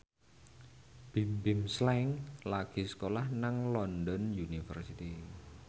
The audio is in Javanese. Bimbim Slank lagi sekolah nang London University